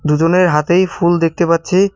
দুজনের হাতেই ফুল দেখতে পাচ্ছি।